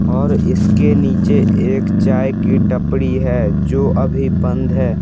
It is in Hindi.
और इसके नीचे एक चाय की टपड़ी है जो अभी बंद है ।